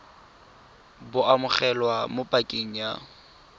bo amogelwa mo pakeng ya